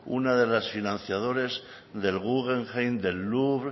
unas de las financiadoras del guggenheim del louvre